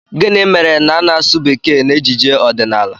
Gịnị mere na a na-asụ bekee n'ejije ọdịnala?